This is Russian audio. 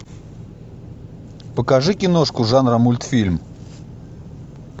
покажи киношку жанра мультфильм